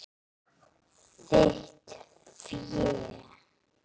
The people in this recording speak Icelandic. Þitt fé.